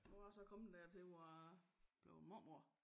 Nu jeg så kommet dertil hvor jeg blevet mormor